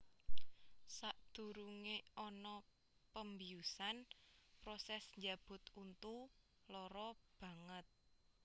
Sadurunge ana pembiusan proses njabut untu lara banget